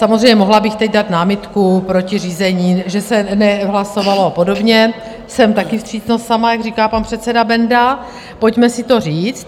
Samozřejmě, mohla bych teď dát námitku proti řízení, že se nehlasovalo, a podobně - jsem také vstřícnost sama, jak říká pan předseda Benda, pojďme si to říct.